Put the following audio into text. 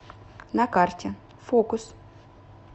на карте фокус